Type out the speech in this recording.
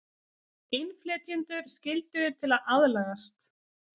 Innflytjendur skyldugir til að aðlagast